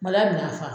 Malila bina fa